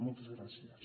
moltes gràcies